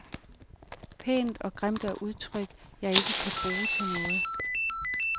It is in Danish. Pænt og grimt er udtryk, jeg ikke kan bruge til noget.